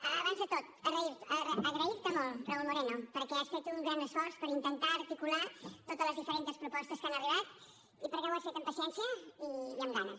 abans de tot agrair te molt raúl moreno perquè has fet un gran esforç per intentar articular totes les diferents propostes que han arribat i perquè ho has fet amb paciència i amb ganes